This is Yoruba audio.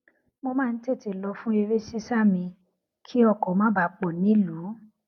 mo máa ń tètè lọ fun eré sisa mi kí ọkò má bàa pò nílùú